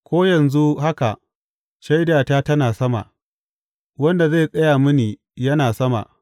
Ko yanzu haka shaidata tana sama; wanda zai tsaya mini yana sama.